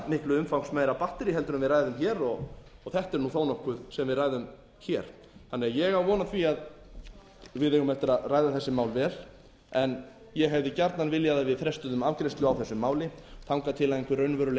miklu umfangsmeira batterí en við ræðum hér og þetta er nú þó nokkuð sem við ræðum hér ég á von á því að við eigum eftir að ræða þessi mál vel en ég hefði gjarnan viljað að frestuðum afgreiðslu á þessu máli þangað til einhver raunveruleg